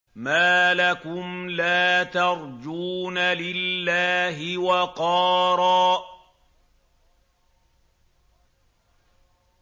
مَّا لَكُمْ لَا تَرْجُونَ لِلَّهِ وَقَارًا